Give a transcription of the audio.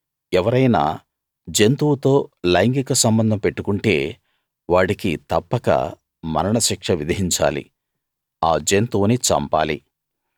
ఎవరైనా జంతువుతో లైంగిక సంబంధం పెట్టుకుంటే వాడికి తప్పక మరణ శిక్ష విధించాలి ఆ జంతువును చంపాలి